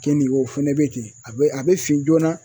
Kenige o fɛnɛ bɛ ten a bɛ a bɛ fin joona